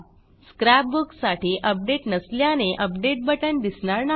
scrap book साठी update नसल्याने update बटण दिसणार नाही